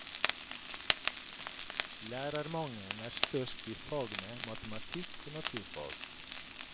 Lærermangelen er størst i fagene matematikk og naturfag.